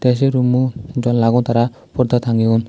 te se rummo janlagun tara porda tangeyon.